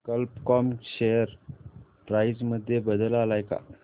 कल्प com share price मध्ये बदल आलाय का